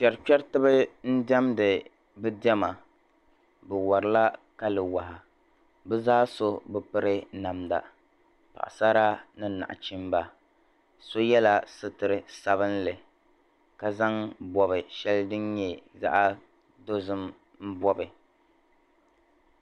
Kpɛri kpɛritiba diɛmdi bɛ diɛma bɛ warila Kali waa bɛ zaa so bɛ piri namda paɣasara ni naɣichimba so yɛla suturi sabinli ka zaŋ bɔbi shɛli din nyɛ zaɣ'dozim bɔbi.